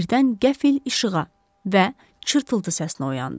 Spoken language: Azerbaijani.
Birdən qəfil işığa və çırtıltı səsinə oyandı.